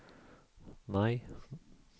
maj